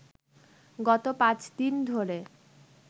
গত পাঁচদিন ধরে